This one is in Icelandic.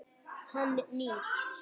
Hann nýr.